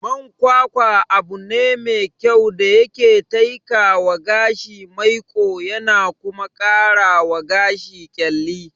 Man kwakwa abune me kyau da yake taikawa gashi maiƙo yana kuma karawa gashi ƙyalli.